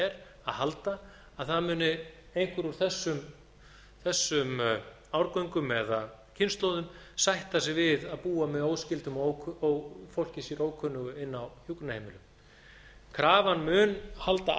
að halda að það muni einhver úr þessum árgöngum eða kynslóðum sætta sig við að búa með óskyldum og fólki sér ókunnugu inni á hjúkrunarheimili krafan mun halda